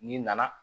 N'i nana